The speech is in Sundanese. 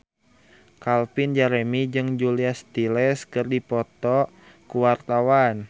Calvin Jeremy jeung Julia Stiles keur dipoto ku wartawan